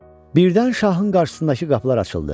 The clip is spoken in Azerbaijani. Birdən şahın qarşısındakı qapılar açıldı.